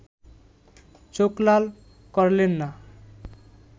চোখ লাল করলেন না